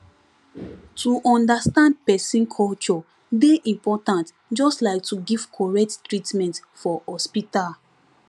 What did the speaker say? to understand person culture dey important just like to give correct treatment for hospital